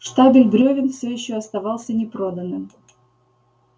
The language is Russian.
штабель брёвен все ещё оставался непроданным